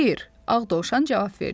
Xeyr, ağ Dovşan cavab verdi.